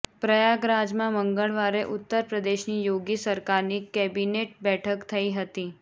પ્રયાગરાજમાં મંગળવારે ઉત્તર પ્રદેશની યોગી સરકારની કેબિનેટ બેઠક થઈ હતી